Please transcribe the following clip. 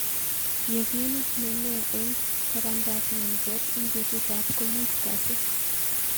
Yekun nemee eng tabandaab nyanjet eng betutab komutu kasi